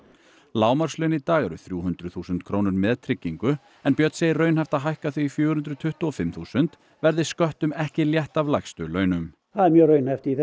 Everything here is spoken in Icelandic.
lágmarkslaun í dag eru þrjú hundruð þúsund krónur með tryggingu en Björn segir raunhæft að hækka þau í fjögur hundruð tuttugu og fimm þúsund verði sköttum ekki létt af lægstu launum það er mjög raunhæft